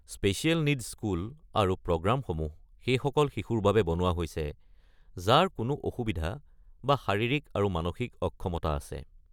Special needs school আৰু প্ৰগ্ৰামসমূহ সেইসকলৰ শিশুৰ বাবে বনোৱা হৈছে যাৰ কোনো অসুবিধা বা শাৰীৰিক আৰু মানসিক অক্ষমতা আছে।